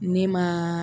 Ne ma